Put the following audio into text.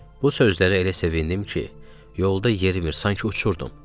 Bu sözləri elə sevindim ki, yolda yerimirdim, sanki uçurdum.